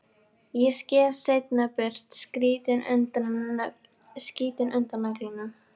Ég skef seinna burt skítinn undan nöglunum.